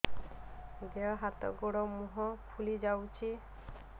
ଦେହ ହାତ ଗୋଡୋ ମୁହଁ ଫୁଲି ଯାଉଛି